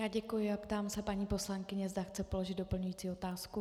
Já děkuji a ptám se paní poslankyně, zda chce položit doplňující otázku.